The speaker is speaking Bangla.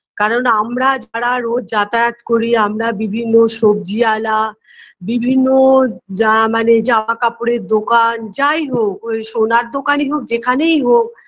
কারণ আমরা যারা রোজ যাতায়াত করি আমরা বিভিন্ন সব্জিআলা বিভিন্ন জা মানে জামাকাপড়ের দোকান যাইহোক ঐ সোনার দোকানই হোক যেখানেই হোক